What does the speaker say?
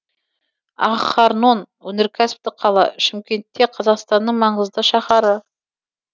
ахарнон өнеркәсіптік қала шымкент те қазақстанның маңызды шаһары